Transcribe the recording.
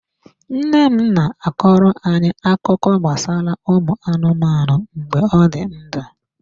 Nna m na-akọrọ anyị akụkọ gbasara anụmanụ mgbe ọ dị ndụ.